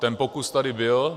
Ten pokus tady byl.